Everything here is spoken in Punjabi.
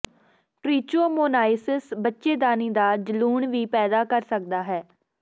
ਟਰਿਚੋਮੋਨਾਈਸਿਸ ਬੱਚੇਦਾਨੀ ਦਾ ਜਲੂਣ ਵੀ ਪੈਦਾ ਕਰ ਸਕਦਾ ਹੈ